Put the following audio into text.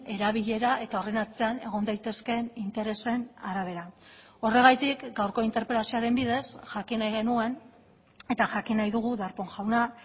erabilera eta horren atzean egon daitezkeen interesen arabera horregatik gaurko interpelazioaren bidez jakin nahi genuen eta jakin nahi dugu darpón jauna